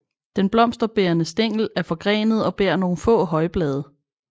Den blomsterbærende stængel er forgrenet og bærer nogle få højblade